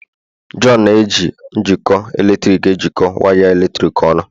John na-eji njikọ eletrik jikọọ waya eletrik ọnụ.